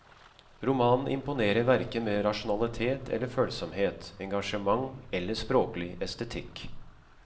Romanen imponerer hverken med rasjonalitet eller følsomhet, engasjement eller språklig estetikk.